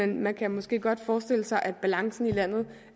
man kunne måske godt forestille sig at balancen i landet